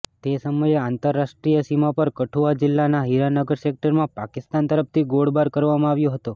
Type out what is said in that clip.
તે સમયે આંતરરાષ્ટ્રિય સીમા પર કઠુઆ જિલ્લાનાં હીરાનગર સેક્ટરમાં પાકિસ્તાન તરફથી ગોળબાર કરવામાં આવ્યો હતો